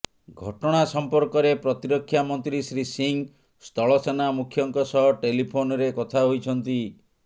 ଘଟଣା ସମ୍ପର୍କରେ ପ୍ରତିରକ୍ଷା ମନ୍ତ୍ରୀ ଶ୍ରୀ ସିଂହ ସ୍ଥଳ ସେନା ମୁଖ୍ୟଙ୍କ ସହ ଟେଲିଫୋନ୍ରେ କଥା ହୋଇଛନ୍ତି